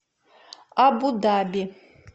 абу даби